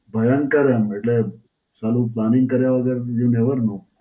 ભયંકર એમ એટલે, સાલું planning કર્યા વગર You never know.